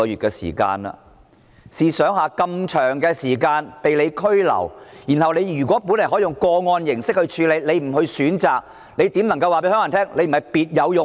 試想一下，疑犯這麼長時間被拘留，局長原本可以用個案形式來處理，但他不選擇這樣做，如何能夠告訴香港人他不是別有用心？